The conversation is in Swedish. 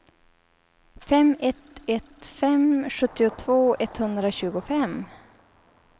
fem ett ett fem sjuttiotvå etthundratjugofem